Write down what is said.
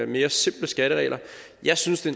mere simple skatteregler jeg synes det